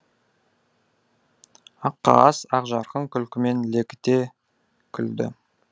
аққағаз ақжарқын күлкімен лекіте күлді